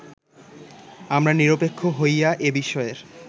আমরা নিরপেক্ষ হইয়া এ বিষয়ের